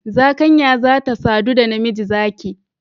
Zakanya za ta sadu da namiji zaki